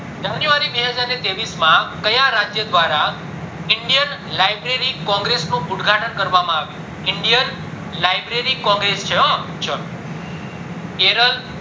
january બે હાજર ને ત્રેવીસ માં કયા રાજ્ય દ્વારા indian library congress નું ઉદ્ઘાટન કરવામાં આવ્યું indian library congress છે હો ચલો કેરલ